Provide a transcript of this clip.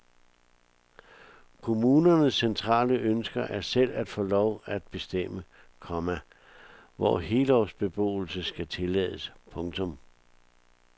Kommunernes centrale ønske er selv at få lov at bestemme, komma hvor helårsbeboelse skal tillades. punktum